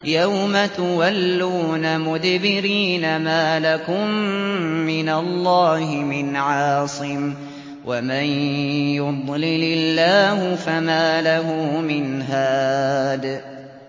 يَوْمَ تُوَلُّونَ مُدْبِرِينَ مَا لَكُم مِّنَ اللَّهِ مِنْ عَاصِمٍ ۗ وَمَن يُضْلِلِ اللَّهُ فَمَا لَهُ مِنْ هَادٍ